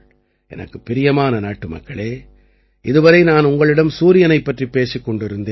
எனக்குப் பிரியமான நாட்டுமக்களே இதுவரை நான் உங்களிடம் சூரியனைப் பற்றிப் பேசிக் கொண்டிருந்தேன்